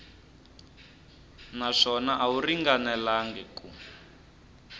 naswona a wu ringanelangi ku